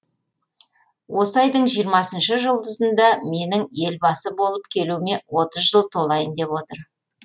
осы айдың жиырмасыншы жұлдызында менің елбасы болып келуіме отыз жыл толайын деп отыр